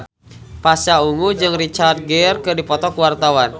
Pasha Ungu jeung Richard Gere keur dipoto ku wartawan